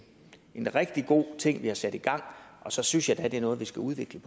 en rigtig god ting vi har sat i gang og så synes jeg da det er noget vi skal udvikle